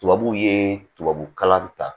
Tubabuw ye tubabukalan ta